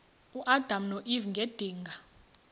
uadam noeva ngedinga